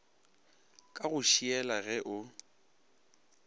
ka go šiela ge o